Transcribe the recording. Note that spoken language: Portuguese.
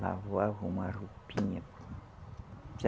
Lavava uma roupinha.